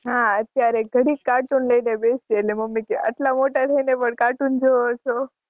હાં અત્યારે ઘડીક કાર્ટૂન લઈને બેસીએ એટલે મમ્મી કે આટલા મોટા થઈને પણ કાર્ટૂન જુવો છો.